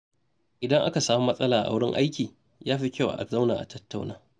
Idan aka samu matsala a wurin aiki, ya fi kyau a zauna a tattauna.